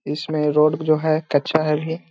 इसमें रोड जो है कच्चा है अभी।